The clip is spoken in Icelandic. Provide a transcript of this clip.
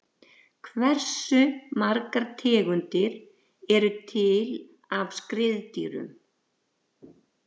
Hversu margar tegundir eru til af skriðdýrum?